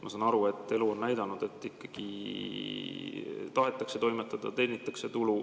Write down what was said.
Ma saan aru, et elu on näidanud, et ikkagi tahetakse toimetada ja teenitakse tulu.